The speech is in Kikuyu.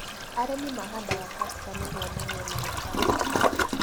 Arĩmi mahandaga castor nĩguo magĩe maguta.